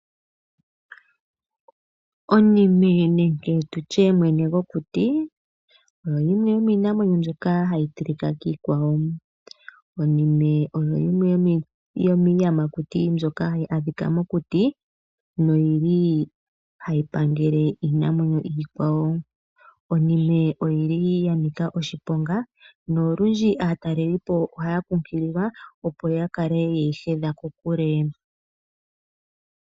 Onime nenge tu tye mwene gwokuti oyo yimwe yomiinamwenyo mbyoka hayi tilika kiikwawo. Onime oyo yimwe yomiiyamakuti mbyoka adhika mokuti noyili hayi pangele iinamwenyo iikwawo. Onime oyili ya nika oshiponga, nolundji aatalelipo ohaya kunkililwa opo ya kale ye yi hedha kokule.